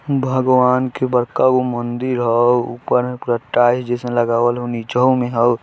भगवान् के बड़का गो मंदिर हउ ऊपर में पूरा टाइल्स जैसा लगावल हउ निचहूँ में हउ।